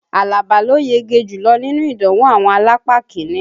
Àlàbá ló yege jùlọ́ nínú ìdánwò àwọn alápá kiní